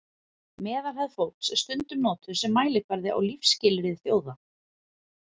meðalhæð fólks er stundum notuð sem mælikvarði á lífsskilyrði þjóða